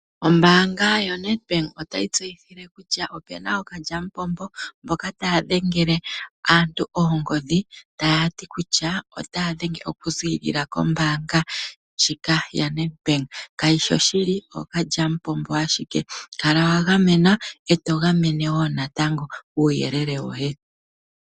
Ombaanga ya Nedbank otayi tseyitha kutya opuna ookalyampompo, mboka taya dhengele aantu oongodhi ta yati kutya, otaya dhenge oku ziklila kombaanga ndjika ya Nedbank. Kashishi oshili, ookandjampompo ashike. Kala wa gamenwa, eto gameno wo natango uuyelele woye.